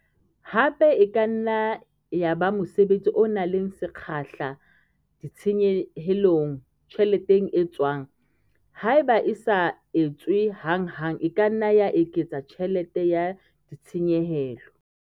Hape e ka nna ya ba mosebetsi o nang le sekgahla ditshenyehelong, tjheleteng e tswang. Haeba e sa etswe hanghang e ka nna ya eketsa tjhelete ya ditshenyehelo.